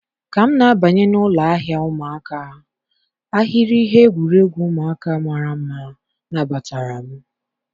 Ka m na-abanye n'ụlọ ahịa ụmụaka, ahịrị ihe egwuregwu ụmụaka mara mma nabatara m